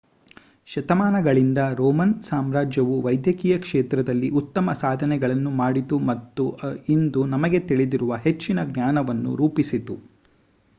ಶತಮಾನಗಳಿಂದ ರೋಮನ್ ಸಾಮ್ರಾಜ್ಯವು ವೈದ್ಯಕೀಯ ಕ್ಷೇತ್ರದಲ್ಲಿ ಉತ್ತಮ ಸಾಧನೆಗಳನ್ನು ಮಾಡಿತು ಮತ್ತು ಇಂದು ನಮಗೆ ತಿಳಿದಿರುವ ಹೆಚ್ಚಿನ ಜ್ಞಾನವನ್ನು ರೂಪಿಸಿತು